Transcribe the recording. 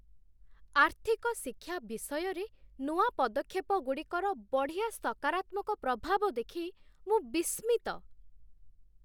ଆର୍ଥିକ ଶିକ୍ଷା ବିଷୟରେ ନୂଆ ପଦକ୍ଷେପଗୁଡ଼ିକର ବଢ଼ିଆ ସକାରାତ୍ମକ ପ୍ରଭାବ ଦେଖି ମୁଁ ବିସ୍ମିତ।